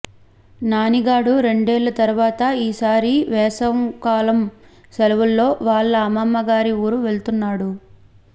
నానిగాడు రెండేళ్ల తర్వాత ఈ సారి వేసంకాలం సెలవులలో వాళ్ళ అమ్మమ్మ గారి ఊరు వెళ్తున్నాడు